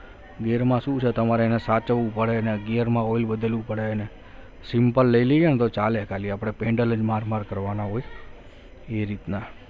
ગેરમાં શું છે તમારે એને સાચવવું પડે ગેરમા ઓઇલને બદલવું પડે ને simple જ લઈ લઈએ તો ચાલે ને આપણે ખાલી પેન્ડલ જ માર માર કરવાના હોય એ રીતના